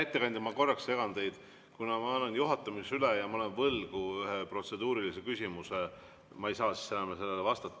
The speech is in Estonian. Hea ettekandja, ma korraks segan teid, kuna ma annan kohe juhatamise üle ja olen võlgu ühe protseduurilise küsimuse.